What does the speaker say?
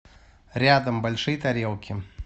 рядом большие тарелки